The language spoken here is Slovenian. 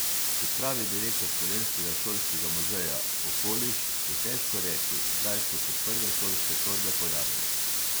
Kot pravi direktor Slovenskega šolskega muzeja Okoliš, je težko reči, kdaj so se prve šolske torbe pojavile.